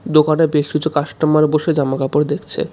দোকানে বেশ কিছু কাস্টমার বসে জামাকাপড় দেখছে.